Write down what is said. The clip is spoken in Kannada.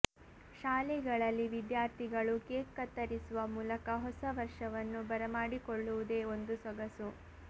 ಶಾಲೆಗಳಲ್ಲಿ ವಿದ್ಯಾರ್ಥಿಗಳು ಕೇಕ್ ಕತ್ತರಿಸುವ ಮೂಲಕ ಹೊಸ ವರ್ಷವನ್ನು ಬರಮಾಡಿಕೊಳ್ಳುವುದೇ ಒಂದು ಸೊಗಸು